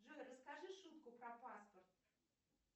джой расскажи шутку про паспорт